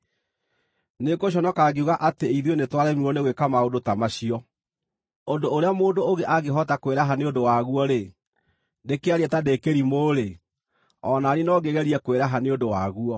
Nĩngũconoka ngiuga atĩ ithuĩ nĩtwaremirwo nĩ gwĩka maũndũ ta macio! Ũndũ ũrĩa mũndũ ũngĩ angĩhota kwĩraha nĩ ũndũ waguo-rĩ, ndĩkĩarie ta ndĩ kĩrimũ-rĩ, o na niĩ no ngĩgerie kwĩraha nĩ ũndũ waguo.